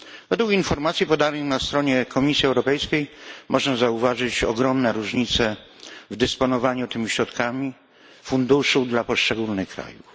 Według informacji podanej na stronie Komisji Europejskiej możemy zauważyć ogromne różnice w dysponowaniu tymi środkami z funduszu dla poszczególnych krajów.